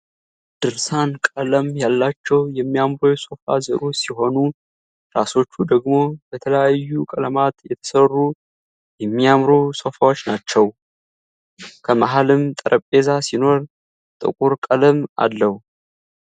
ድርሳን ቀለም ያላቸው የሚያምሩ የሶፋ ዘሮች ሲሆኑ ትራሶቹ ደግሞ በተለያዩ ቀለማት የተሰሩ የሚያምሩ ሶፋዎች ናቸው። ከመህልም ጠረጴዛ ሲኖር ጥቁር ቀለም አለው።